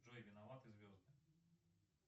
джой виноваты звезды